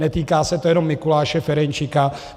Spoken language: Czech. Netýká se to jenom Mikuláše Ferjenčíka.